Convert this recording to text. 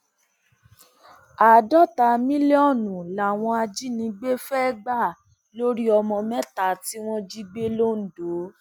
àádọta mílíọnù làwọn ajínigbé fẹẹ gbà lórí ọmọ mẹta tí wọn jí gbé londo